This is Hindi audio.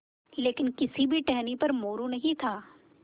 लेकिन किसी भी टहनी पर मोरू नहीं था